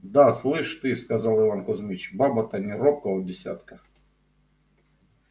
да слышь ты сказал иван кузмич баба-то не робкого десятка